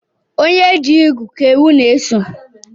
Onye chi igu Ka ewu n'eso